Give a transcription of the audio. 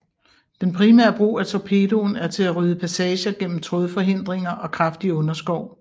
Den primære brug af torpedoen er til at rydde passager gennem trådforhindringer og kraftig underskov